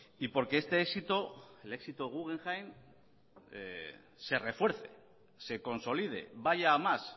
y porque este éxito éxito guggenheim se refuerce se consolide vaya a más